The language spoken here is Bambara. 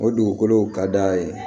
O dugukolow ka d'a ye